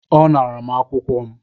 Ọ ṅara m akwụkwọ m